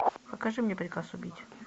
покажи мне приказ убить